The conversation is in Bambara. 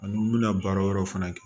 Ani n bɛna baara wɛrɛw fana kɛ